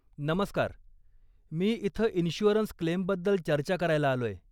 नमस्कार, मी इथं इन्शुअरन्स क्लेमबद्दल चर्चा करायला आलोय.